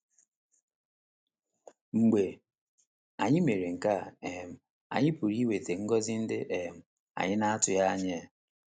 Mgbe anyị mere nke a um, anyị pụrụ inweta ngọzi ndị um anyị na - atụghị anya ha.